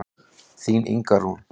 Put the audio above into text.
Þín Inga Rún.